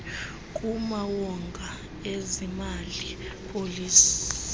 kumawonga ezemali policy